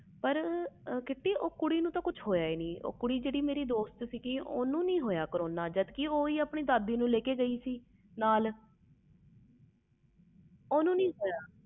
ਪਰ ਕਿਰਤੀ ਉਹ ਕੁੜੀ ਮੇਂ ਦੋਸਤ ਨੂੰ ਤੇ ਕੁਛ ਹੋਇਆ ਨਹੀਂ ਜਦ ਕਿ ਉਹ ਆਪਣੀ ਦਾਦੀ ਨੂੰ ਲੈ ਕੇ ਗਈ ਸੀ ਹਸਪਤਾਲ